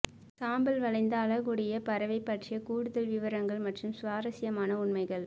சாம்பல் வளைந்த அலகுடைய பறவை பற்றிய கூடுதல் விவரங்கள் மற்றும் சுவாரஸ்யமான உண்மைகள்